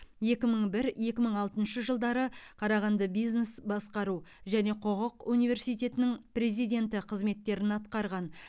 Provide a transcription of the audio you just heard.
екі мың бір екі мың алтыншы жылдары қарағанды бизнес басқару және құқық университетінің президенті қызметтерін атқарған